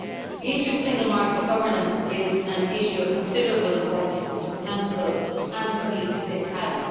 The issue of single market governance is an issue of considerable importance to the Council and indeed to this House.